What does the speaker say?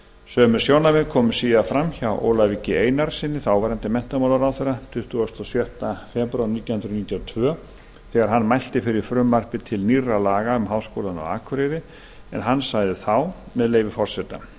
sömu sjónarmið komu síðar fram hjá ólafi g einarssyni þáverandi menntamálaráðherra tuttugasta og sjötta febrúar nítján hundruð níutíu og tvö þegar hann mælti fyrir frumvarpi til nýrra laga um háskólann á akureyri hann sagði þá með leyfi forseta